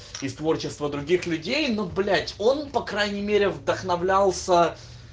и в творчество других людей ну блять он по крайней мере вдохновлялся